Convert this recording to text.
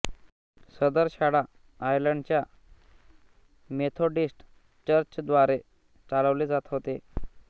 सदर शाळा आयर्लंड च्या मेथोडिस्त चर्चद्वारे चालवले जात होते